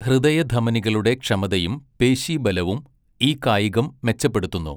ഹൃദയധമനികളുടെ ക്ഷമതയും പേശീബലവും ഈ കായികം മെച്ചപ്പെടുത്തുന്നു.